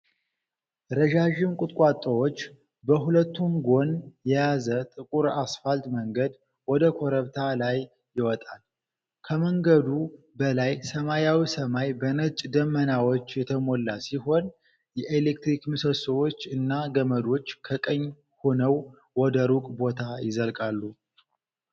ረዣዥም ቁጥቋጦዎች በሁለቱም ጎን የያዙ ጥቁር አስፋልት መንገድ ወደ ኮረብታ ላይ ይወጣል። ከመንገዱ በላይ ሰማያዊ ሰማይ በነጭ ደመናዎች የተሞላ ሲሆን፤ የኤሌክትሪክ ምሰሶዎች እና ገመዶች ከቀኝ ሆነው ወደ ሩቅ ቦታ ይዘልቃሉ።